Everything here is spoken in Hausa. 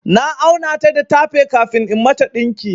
Na auna ta da tape kafin in mata ɗinki.